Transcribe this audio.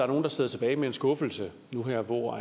nogle der sidder tilbage med en skuffelse nu her hvor